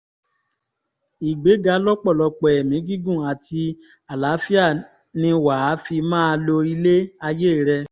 ìgbéga lọ́pọ̀lọpọ̀ ẹ̀mí gígùn àti àlàáfíà ni wà á fi máa lo ilé ayé rẹ̀